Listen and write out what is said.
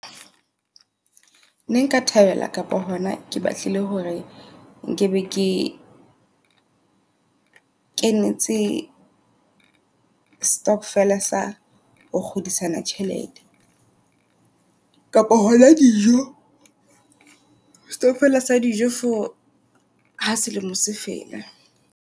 Ne nka thabela kapa hona ke batlile hore nkebe ke kenetse stokvel sa ho kgodisana tjhelete. Kapo hona dijo stockvel sa dijo for ha selemo se fela.